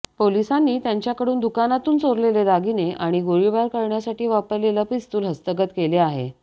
पोलिसांनी त्यांच्याकडून दुकानातून चोरलेले दागिने आणि गोळीबार करण्यासाठी वापरलेले पिस्तूल हस्तगत केले आहे